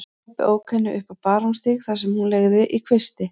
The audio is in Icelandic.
Pabbi ók henni upp á Barónsstíg þar sem hún leigði í kvisti.